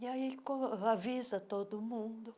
E aí co avisa todo mundo.